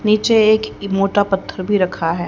नीचे एक मोटा पत्थर भी रखा है।